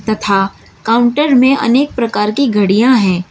तथा काउंटर में अनेक प्रकार की घड़ियां हैं।